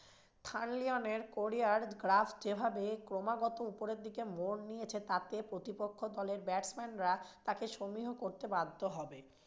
কোরিয়ার গ্রাফ যেভাবে ক্রমাগত ওপরের দিকে মোর নিয়েছে তাতে প্রতিপক্ষ দলের batsman রা তাকে সমীহ করতে বাধ্য হবেন।